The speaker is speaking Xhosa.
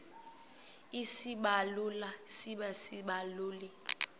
isibaluli sibe sisibaluli